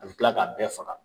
A bɛ tila k'a bɛɛ faga